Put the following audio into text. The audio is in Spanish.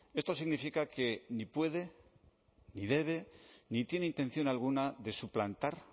esto significa que ni puede ni debe ni tiene intención alguna de suplantar